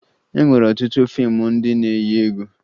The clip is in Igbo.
E nwere ọtụtụ fiimu ndị na-eyi egwu